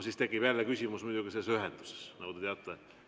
Siis tekib jälle küsimus muidugi selle ühendusega, nagu te teate.